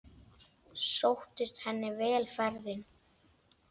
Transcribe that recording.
Sóttist henni vel ferðin.